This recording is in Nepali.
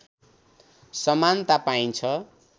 समानता पाइन्छ